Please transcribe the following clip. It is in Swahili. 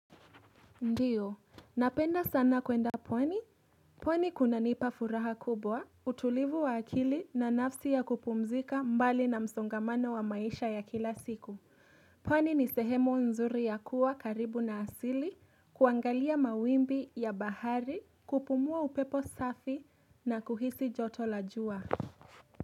Ndiyo, napenda sana kwenda pwani, pwani kunanipa furaha kubwa, utulivu wa akili na nafasi ya kupumzika mbali na msongamano wa maisha ya kila siku, pwani ni sehemu nzuri ya kuwa karibu na asili, kuangalia mawimbi ya bahari, kupumua upepo safi na kuhisi joto la jua.